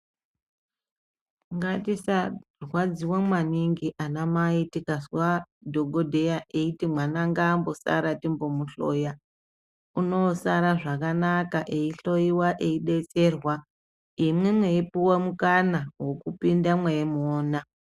Ngatisarwadziwa mwaningi ana mai tikazwa dhokodheya eiti mwana ngaambosara timbomuhloya , unosara zvakanaka eyi hloyiwa eidetserwa imwi mweipuwa mukana wekupinda mweimuwona.